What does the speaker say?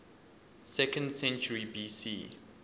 second century bc